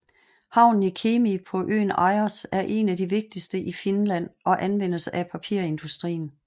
Havnen i Kemi på øen Ajos er en af de vigtigste i Finland og anvendes af papirindustrien